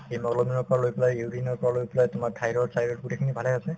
hemoglobin ৰ পৰা লৈ পেলাই urine ৰ পৰা লৈ পেলাই তোমাৰ thyroid চাইৰয়ড গোটেইখিনি ভালে আছে